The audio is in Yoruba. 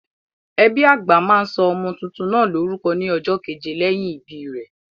Ẹbí àgbà máa sọ ọmọ tuntun náà lórúkọ ní ọjọ́ keje lẹ́yìn ìbí rẹ̀.